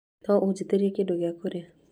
No ũgitirie kĩndũ gĩa kũrĩa?